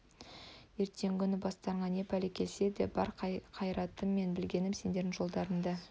ертеңгі күні бастарыңа не пәле келсе де бар қайратым мен білгенім сендердің жолында